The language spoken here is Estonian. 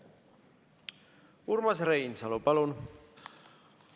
Urmas Reinsalu, palun!